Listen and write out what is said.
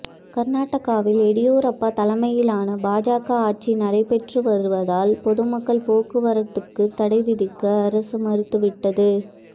கர்நாடகாவில் எடியூரப்பா தலைமையிலான பாஜக ஆட்சி நடைபெற்று வருவதால் பொது போக்குவரத்துக்கு தடை விதிக்க அரசு மறுத்துவிட்டது